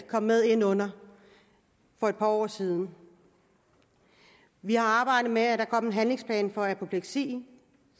kom med ind under for et par år siden vi har arbejdet med at der kom en handlingsplan for apopleksi